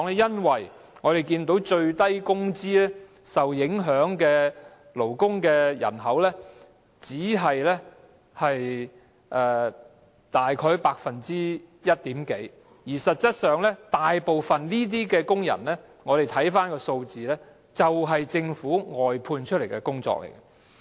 因為我們看到，領取最低工資的勞工人口只佔大約一點多個百分點，而實際上，如果我們看看數字，便會知道這些工人大部分從事政府外判的工作。